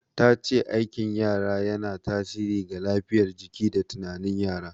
Ta ce aikin yara yana tasiri ga lafiyar jiki da tunanin yara.